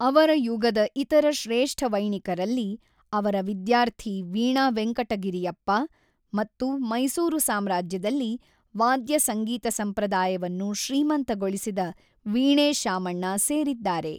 ಅವರ ಯುಗದ ಇತರ ಶ್ರೇಷ್ಠ ವೈಣಿಕರಲ್ಲಿ ಅವರ ವಿದ್ಯಾರ್ಥಿ ವೀಣಾ ವೆಂಕಟಗಿರಿಯಪ್ಪ ಮತ್ತು ಮೈಸೂರು ಸಾಮ್ರಾಜ್ಯದಲ್ಲಿ ವಾದ್ಯ ಸಂಗೀತ ಸಂಪ್ರದಾಯವನ್ನು ಶ್ರೀಮಂತಗೊಳಿಸಿದ ವೀಣೆ ಶಾಮಣ್ಣ ಸೇರಿದ್ದಾರೆ.